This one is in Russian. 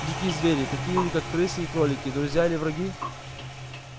дикие звери такие как крысы и кролики друзья или враги